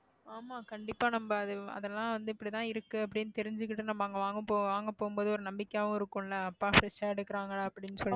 ஆமா கண்டிப்பா நம்ம அதெல்லாம் வந்து இப்படித்தான் இருக்கு அப்படின்னு தெரிஞ்சுக்கிட்டு நம்ம அங்க வாங்க போ~ வாங்க போகும்போது ஒரு நம்பிக்கையாவும் இருக்கும்ல அப்பா எடுக்குறாங்களா அப்படின்னு சொல்லி